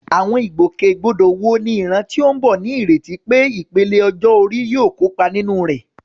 Àwọn ìgbòkègbodò wo ni ìran tó ń bọ̀ ní ìrètí pé ìpele ọjọ́ orí yóò kópa nínú rẹ̀?